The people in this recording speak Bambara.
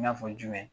N y'a fɔ jumɛn